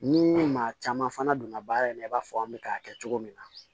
Ni maa caman fana donna baara in na i b'a fɔ an bɛ k'a kɛ cogo min na